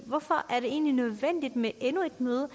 hvorfor er det egentlig nødvendigt med endnu et møde